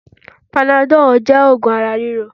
Panadọ́ọ̀ jẹ́ oògùn ara ríro